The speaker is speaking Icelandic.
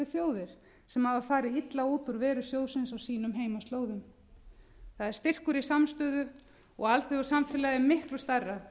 þjóðir sem hafa farið illa út úr veru sjóðsins á sínum heimaslóðum það er styrkur í samstöðu og alþjóðasamfélagið er miklu stærra